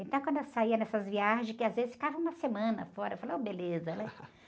Então, quando eu saía nessas viagens, que às vezes ficava uma semana fora, eu falava, ô beleza, né?